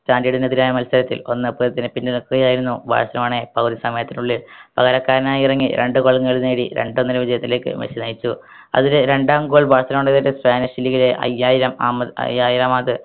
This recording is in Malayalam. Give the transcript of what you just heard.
standard നെതിരായ മത്സരത്തിൽ ഒന്നേ പൂജ്യത്തിന് പിന്നിൽ നിൽക്കുകയായിരുന്നു ബാഴ്‌സിലോണയെ പൗര സമയത്തിനുള്ളിൽ പകരക്കാരനായി ഇറങ്ങി രണ്ട goal കൾ നേടി രണ്ട് ഒന്ന് വിജയത്തിലേക്ക് മെസ്സി നയിച്ചു അതിലെ രണ്ടാം goal ബാഴ്‌സലോണയുടെ spanish league ലെ അയ്യായിരം ആമത് അയ്യായിരാമത്